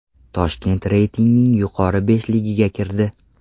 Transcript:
Toshkent reytingning yuqori beshligiga kirdi.